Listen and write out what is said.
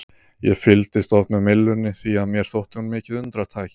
Ég fylgdist oft með myllunni því að mér þótti hún mikið undratæki.